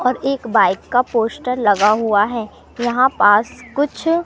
और एक बाइक का पोस्टर लगा हुआ है यहां पास कुछ--